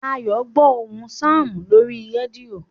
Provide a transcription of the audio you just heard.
Ayo ń gbó ohùn Sam lórí rédíò